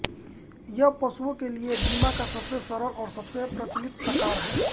यह पशुओं के लिए बीमा का सबसे सरल और सबसे प्रचलित प्रकार है